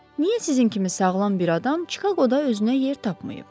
Niyə sizin kimi sağlam bir adam Çikaqoda özünə yer tapmayıb?